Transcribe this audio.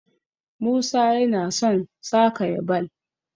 musa yana son sa kaya ball